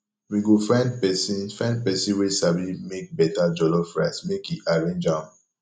we go find pesin find pesin wey sabi make beta jollof rice make e arrange am